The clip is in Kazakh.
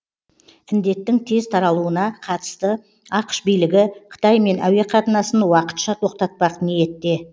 індеттің тез таралуына қатысты ақш билігі қытаймен әуеқатынасын уақытша тоқтатпақ ниетте